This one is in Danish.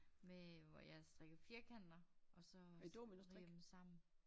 Med øh hvor jeg strikker firkanter og så øh strikker jeg dem sammen